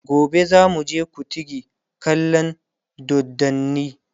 gobe zamu je kutigi kallan doddani